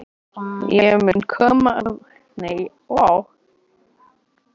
Ráðuneytið átti eftir að stórskaða möguleika á arðvænlegu fiskeldi.